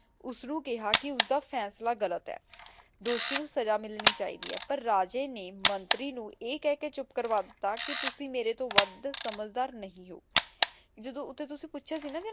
ਓਸ ਨੂ ਕੇਹਾ ਕੇ ਓਸਦਾ ਫੈਸਲਾ ਗਲਤ ਆਯ ਦੋਸ਼ੀ ਨੂ ਸਾਜ੍ਕ਼ਾ ਮਿਲਣੀ ਚੀ ਦੀ ਆਯ ਪਰ ਰਾਜੇ ਨੇ ਮੰਤਰੀ ਨੂ ਈਯ ਕਹ ਕੇ ਚੁਪ ਕਰਵਾ ਦਿਤਾ ਕੇ ਤੁਸੀਂ ਮੇਰੇ ਤੋਂ ਵਾਦ ਸਮਝਦਾਰ ਨਹੀ ਊ ਜਾਦੋਨੋਟੀ ਤੁਸੀਂ ਪੋਚ੍ਯਾ ਸੀ ਨਾ ਕੇ